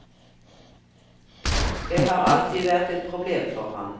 Det har alltid vært et problem for ham.